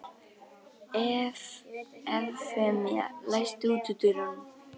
Evfemía, læstu útidyrunum.